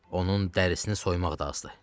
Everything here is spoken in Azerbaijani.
onun dərisini soymaq da azdır.